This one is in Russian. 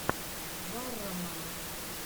варроман